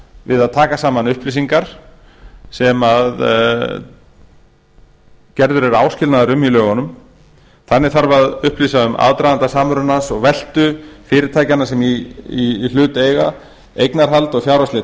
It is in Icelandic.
við að taka saman upplýsingar sem gerður er áskilnaður um í lögunum þannig þarf að upplýsa um aðdraganda samrunans og veltu fyrirtækjanna sem í hlut eiga eignarhald og fjárhagsleg